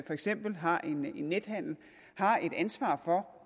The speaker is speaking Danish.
for eksempel har nethandel har et ansvar for